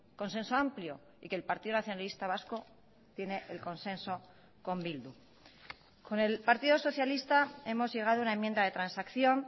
consenso amplio y que el partido nacionalista vasco tiene el consenso con bildu con el partido socialista hemos llegado a una enmienda de transacción